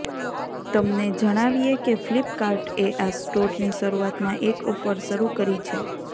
તમને જણાવીએ કે ફ્લિપકાર્ટએ આ સ્ટોરની શરૂઆતમાં એક ઓફર શરૂ કરી છે